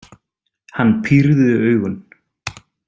Hann pírði augun.